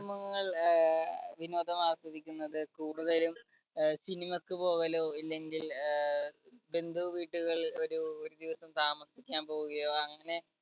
കുടുംബങ്ങൾ അഹ് വിനോദമാസ്വദിക്കുന്നത് കൂടുതലും അഹ് cinema യ്ക്കു പോകലോ ഇല്ലെങ്കിൽ അഹ് ബന്ധുവീട്ടികളിൽ ഒരു ഒരു ദിവസം താമസിക്കാൻ പോവുകയോ അങ്ങനെ